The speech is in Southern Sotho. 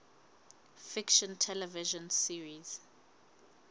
fiction television series